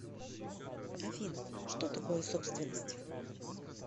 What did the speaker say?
афина что такое собственность